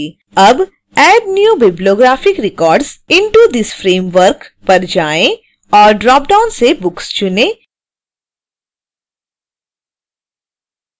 अब add new bibliographic records into this framework पर जाएँ और ड्रॉपडाउन से books चुनें